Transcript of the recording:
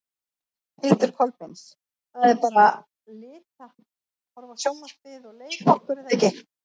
Hildur Kolbeins: Það er bara lita, horfa á sjónvarpið og leika okkur er það ekki?